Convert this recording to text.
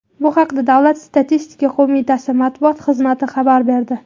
Bu haqda Davlat statistika qo‘mitasi matbuot xizmati xabar berdi.